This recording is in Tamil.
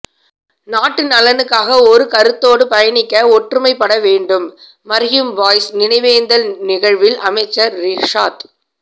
நாட்டு நலனுக்காக ஒரு கருத்தோடு பயணிக்க ஒற்றுமைப்படவேண்டும் மர்ஹும் பாயிஸ் நினைவேந்தல் நிகழ்வில் அமைச்சர் றிஷாத்